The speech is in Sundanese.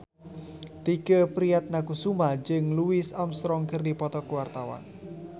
Tike Priatnakusuma jeung Louis Armstrong keur dipoto ku wartawan